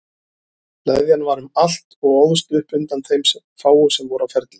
Leðjan var um allt og óðst upp undan þeim fáu sem voru á ferli.